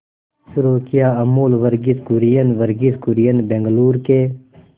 शुरू किया अमूल वर्गीज कुरियन वर्गीज कुरियन बंगलूरू के